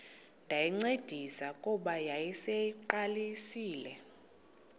ndayincedisa kuba yayiseyiqalisile